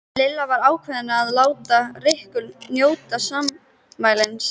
Lilla var ákveðin í að láta Rikku njóta sannmælis.